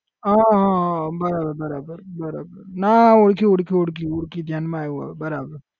હા હા હા બરાબર બરાબર બરાબર ના ઓળખી ઓળખી ઓળખી ઓળખી ધ્યાનમાં આયવો બરાબર